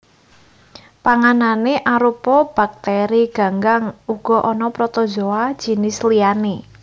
Panganané arupa baktèri ganggang uga ana protozoa jinis liyané